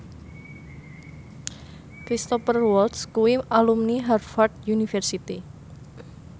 Cristhoper Waltz kuwi alumni Harvard university